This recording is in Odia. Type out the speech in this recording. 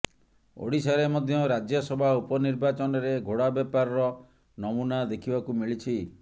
ଓଡ଼ିଶାରେ ମଧ୍ୟ ରାଜ୍ୟସଭା ଉପନିର୍ବାଚନରେ ଘୋଡ଼ା ବେପାରର ନମୂନା ଦେଖିବାକୁ ମିଳିଛି